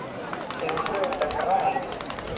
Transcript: Þau voru auðvitað græn.